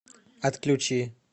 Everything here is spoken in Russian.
отключи